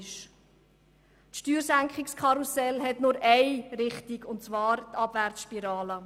Das Steuerkarussel dreht sich nur in eine Richtung – in Richtung Abwärtsspirale.